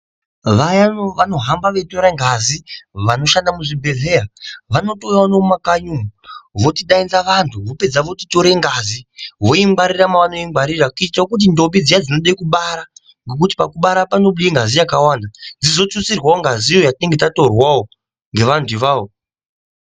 Vaya vanohamba veitore ngazi ,vanoshanda muzvibhedhleya, vanotouyawo nemumakanyi umu vochidainza vanhu, vopedza vochitore ngazi voingwarira mavanoingwarira kuitawo kuti ndombi dzinode kubara- nekuti pakubara panobude ngazi yakawanda, dzizotutsirwawo ngazi iyoyo yatinenge tatorwawo ngevantu ivavo.